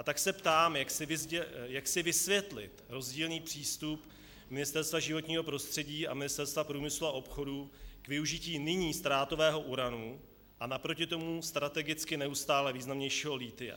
A tak se ptám, jak si vysvětlit rozdílný přístup Ministerstva životního prostředí a Ministerstva průmyslu a obchodu k využití nyní ztrátového uranu a naproti tomu strategicky neustále významnějšího lithia.